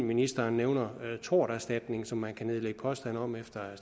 ministeren nævner torterstatning som man kan nedlægge påstand om efter